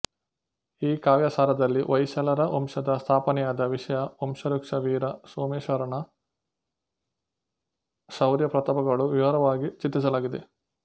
ಈ ಕಾವ್ಯಸಾರದಲ್ಲಿ ಹೊಯ್ಸಳರ ವಂಶದ ಸ್ಥಾಪನೆಯಾದ ವಿಷಯ ವಂಶವೃಕ್ಷ ವೀರ ಸೋಮೇಶ್ವರನ ಶೌರ್ಯ ಪ್ರತಾಪಗಳು ವಿವರವಾಗಿ ಚಿತ್ರಿಸಲಾಗಿದೆ